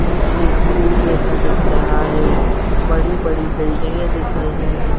पीछे स्कूल जैसा दिख रहा है बड़ी-बड़ी बिल्डिंगे दिख रही हैं ।